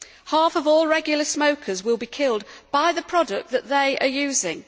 Half of all regular smokers will be killed by the product that they are using.